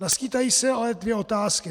Naskýtají se ale dvě otázky.